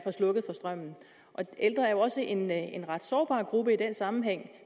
slukket for strømmen og ældre er jo også en en ret sårbar gruppe i den sammenhæng